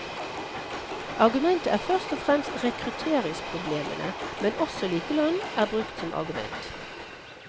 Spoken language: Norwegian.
Argumentet er først og fremst rekrutteringsproblemene, men også likelønn er brukt som argument.